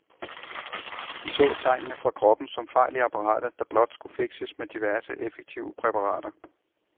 De så tegnene fra kroppen som fejl i apparatet, der blot skulle fikses med diverse effektive præparater.